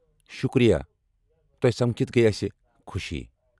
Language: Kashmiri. شُکریہ، تۄہہ سمکھتھ گٔیہ اسہ خُوشی ۔